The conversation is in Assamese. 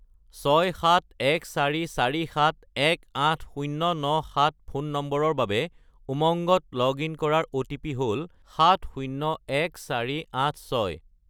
67144718097 ফোন নম্বৰৰ বাবে উমংগত লগ-ইন কৰাৰ অ'টিপি হ'ল 701486